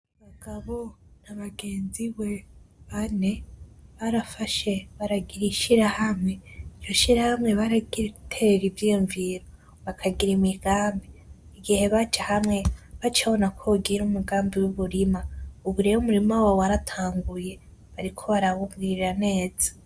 Mugabo na bagenzibe bane barafashe baragira ishirahamwe, iryo shirahamwe baraterera ivyiyumviro bakagira imigambi, igihe baja hamwe bacababona ko bogira imigambi wumurima ubu rero umurima wabo waratanguye bariko barawugirira neza